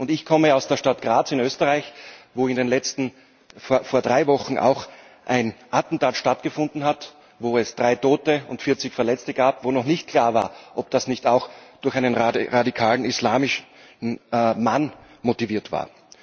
Ich komme aus der Stadt Graz in Österreich, wo vor drei Wochen auch ein Attentat stattgefunden hat, bei dem es drei Tote und vierzig Verletzte gab, und wo noch nicht klar war, ob das nicht auch durch einen radikalen islamischen Mann motiviert war.